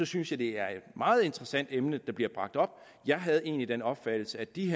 synes jeg det er et meget interessant emne der bliver bragt op jeg havde egentlig den opfattelse at de